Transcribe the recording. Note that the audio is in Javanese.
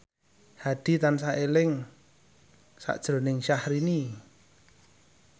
Hadi tansah eling sakjroning Syahrini